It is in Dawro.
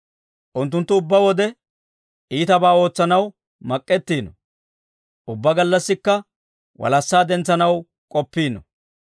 Unttunttu ubbaa wode, iitabaa ootsanaw mak'ettiino; ubbaa gallassikka, walassaa dentsetsanaw k'oppiino.